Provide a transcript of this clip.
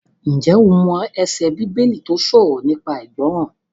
Ǹjẹ́ o mọ ẹsẹ Bíbélì tó sọ̀rọ̀ nípa ìgbọràn?